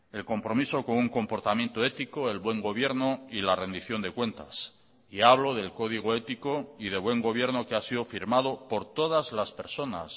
el compromiso con un comportamiento ético el buen gobierno y la rendición de cuentas y hablo del código ético y de buen gobierno que ha sido firmado por todas las personas